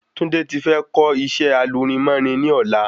Tunde ti fẹ́ lọ kó isẹ́ alurinmórin ni ọ̀la